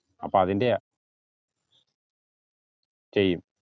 അപ്പൊ അതിന്റെയാ ചെയ്യും